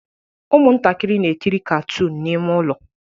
Ụmụntakịrị na-ekiri katoon n'ime ụlọ